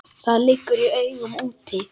Það liggur í augum úti.